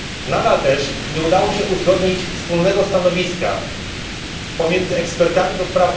Nadal też nie udało się uzgodnić wspólnego stanowiska pomiędzy ekspertami ds.